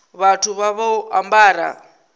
vhathu vha vha vho ambara